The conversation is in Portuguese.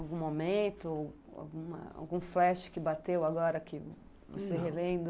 Algum momento, alguma algum flash que bateu agora que não sei revendo?